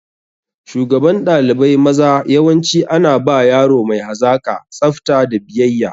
Shugaban ɗalibai maza yawanci ana ba yaro mai hazaƙa, tsafta da biyayya.